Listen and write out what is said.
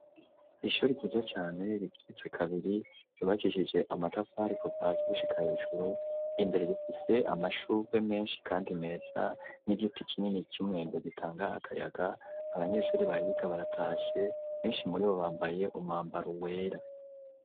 Ishure ryiza cane rigiretse kabiri rubakishije amatafarikobazi gushika hejuru imbere gifise amashurwe menshi kandi meza n'igiti kinini cumwembe gitanga akayaga abanyeshuri bahiga baratashe benshi muri bo bambaye umwambaro wera.